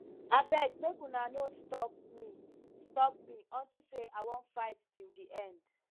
abeg make una no stop me stop me unto say i wan fight till the end